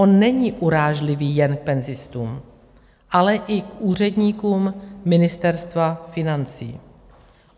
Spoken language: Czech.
On není urážlivý jen k penzistům, ale i k úředníkům Ministerstva financí.